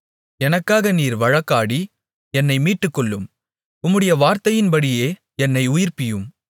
எனக்காக நீர் வழக்காடி என்னை மீட்டுக்கொள்ளும் உம்முடைய வார்த்தையின்படியே என்னை உயிர்ப்பியும்